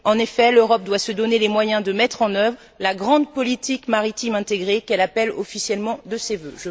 En effet, l'Europe doit se donner les moyens de mettre en œuvre la grande politique maritime intégrée qu'elle appelle officiellement de ses vœux.